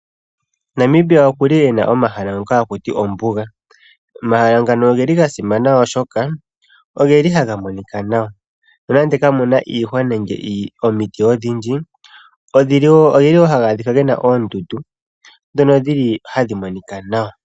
Namibia okuli ena omahala ngoka hakutiwa ombuga. Omahala ngano ogeli ga simana oshoka, ogeli haga monika nawa. Nonando kamuna iihwa nande omiti odhindji. Omuli wo hamu adhika oondundu ndhono dhili hadhi monika nawa.